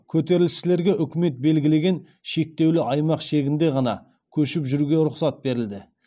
көтерілісшілерге үкімет белгілеген шектеулі аймақ шегінде ғана көшіп жүруге рұқсат берілді